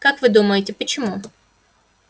как вы думаете почему